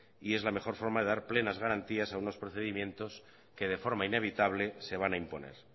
y es la mejor forma de dar plenas garantías a unos procedimientos que de forma inevitable se van a imponer